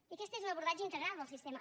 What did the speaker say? i aquest és un abordatge integral del sistema